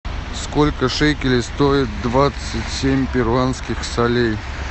сколько шекелей стоит двадцать семь перуанских солей